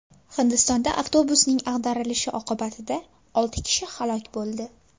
Hindistonda avtobusning ag‘darilishi oqibatida olti kishi halok bo‘ldi.